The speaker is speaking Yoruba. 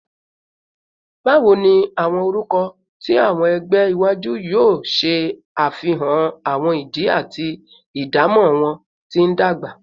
Bawo ni awọn orukọ ti awọn ẹgbẹ iwaju yoo ṣe afihan awọn idi ati idamọ wọn ti ndagba?